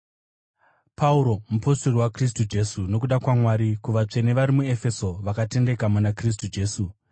Pauro, mupostori waKristu Jesu nokuda kwaMwari, kuvatsvene vari muEfeso, vakatendeka muna Kristu Jesu: